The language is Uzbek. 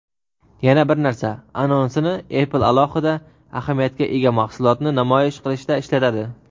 "Yana bir narsa" anonsini Apple alohida ahamiyatga ega mahsulotni namoyish qilishda ishlatadi.